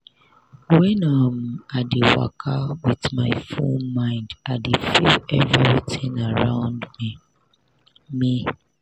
when um i dey waka with my full mind i dey feel everitin around me. me.